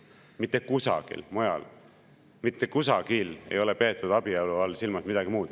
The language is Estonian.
Mitte kusagil ei ole peetud abielu all silmas midagi muud.